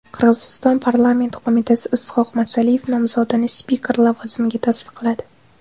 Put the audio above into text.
Qirg‘iziston parlamenti qo‘mitasi Is’hoq Masaliyev nomzodini spiker lavozimiga tasdiqladi.